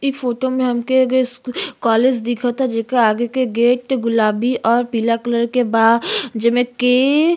इ फोटो में हमके एगो स्कू कॉलेज दिखता जेके आगे के गेट गुलाबी और पीला कलर के बा जेमे की --